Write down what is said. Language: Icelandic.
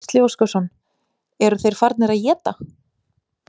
Gísli Óskarsson: Eru þeir farnir að éta?